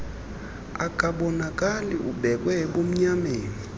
akabonakali ubeekwe ebumnyameni